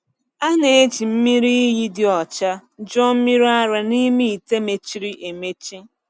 A na-eji mmiri iyi dị ọcha jụọ mmiri ara n’ime ite mechiri emechi.